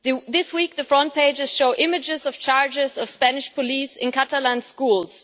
This week, the front pages show images of charges of Spanish police in Catalan schools.